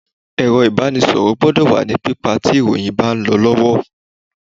Ẹ̀rọ ìbánisọ̀rọ̀ gbọ́dọ̀ wà ní pípa tí ìròyìn bá ń lọ lọ́wọ́.